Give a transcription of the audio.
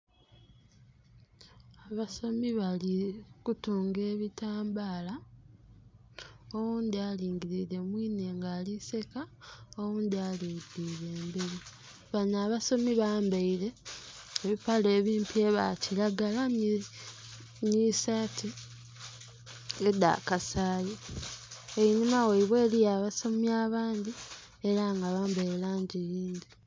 Abasomi bali kutunga ebitambaala oghundhi alingilire mwiine nga aliseka oghundhi alingilire emberi. Bano abasomi bambeire ebipale ebimpi ebya kilagala nhi sati edha kasayi, enhuma ghaibwe eliyo abasomi abandhi era nga bambaire langi yindhi.